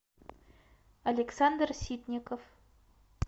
александр ситников